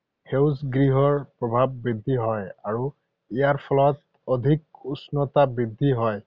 সেউজগৃহৰ প্ৰভাৱ বৃদ্ধি হয় আৰু ইয়াৰ ফলত অধিক উষ্ণতা বৃদ্ধি হয়।